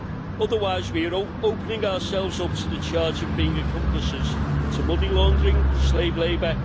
Otherwise we are opening ourselves up to the charge of being accomplices to money laundering, slave labour